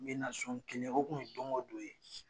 N be na so n kelen, o kun ye don go don ye.